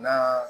Na